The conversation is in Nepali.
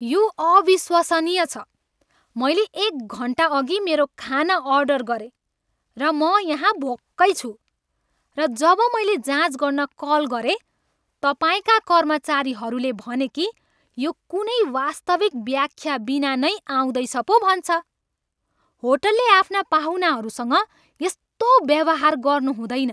यो अविश्वसनीय छ। मैले एक घन्टा अघि मेरो खाना अर्डर गरेँ, र म यहाँ भोकै छु। र जब मैले जाँच गर्न कल गरेँ, तपाईँका कर्मचारीहरूले भने कि यो कुनै वास्तविक व्याख्या बिना नै आउँदैछ पो भन्छ। होटलले आफ्ना पाहुनाहरूसँग यस्तो व्यवहार गर्नु हुँदैन।